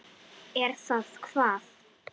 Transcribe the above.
Er það hvað.